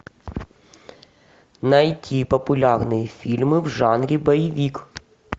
найти популярные фильмы в жанре боевик